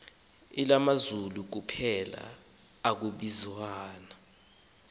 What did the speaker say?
elalinamazulu kuphela akwabikho